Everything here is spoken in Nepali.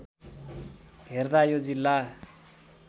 हेर्दा यो जिल्ला